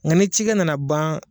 Nga ni cikɛ nana ban